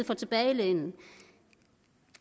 for tilbagelænet